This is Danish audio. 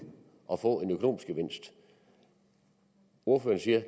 at få en økonomisk gevinst ordføreren siger